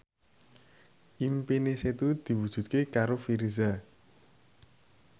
impine Setu diwujudke karo Virzha